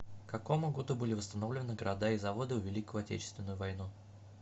к какому году были восстановлены города и заводы в великую отечественную войну